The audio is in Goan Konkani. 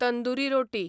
तंदुरी रोटी